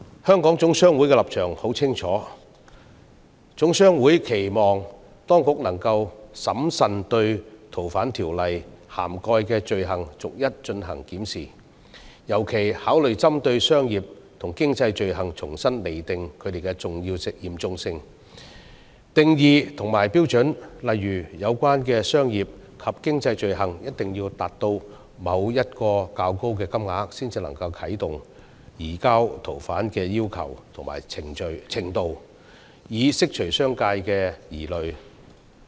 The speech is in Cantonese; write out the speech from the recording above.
香港總商會的立場很明確，期望當局能夠審慎對《逃犯條例》涵蓋的罪類逐一檢視，尤其考慮針對商業及經濟罪類，重新釐定其嚴重性、定義及標準，例如有關商業及經濟罪類一定要涉及某個較高金額才能啟動移交逃犯的要求，以釋除商界的疑慮。